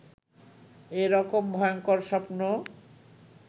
এ রকম ভয়ংকর স্বপ্ন